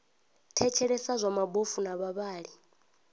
thetshelesa zwa mabofu na vhavhali